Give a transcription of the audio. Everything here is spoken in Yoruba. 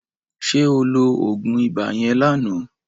Ṣé o lo oògùn ibà yẹn lánàá?